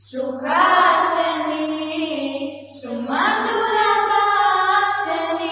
सुहासिनीं सुमधुर भाषिणीं